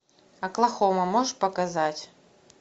оклахома можешь показать